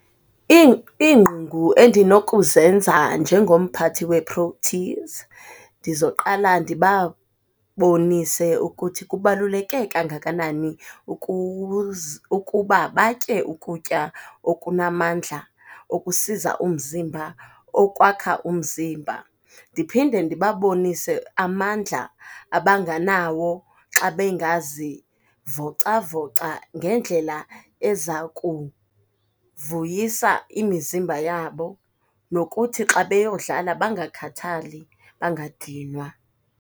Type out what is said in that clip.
endinokuzenza njengomphathi weProteas, ndizoqala ndibabonise ukuthi kubaluleke kangakanani ukuba batye ukutya okunamandla, okusiza umzimba, okwakha umzimba. Ndiphinde ndibabonise amandla abanganawo xa bengazivocavoca ngendlela eza kuvuyisa imizimba yabo, nokuthi xa beyodlala bangakhathali, bangadinwa.